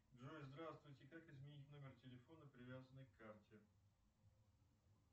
джой здравствуйте как изменить номер телефона привязанный к карте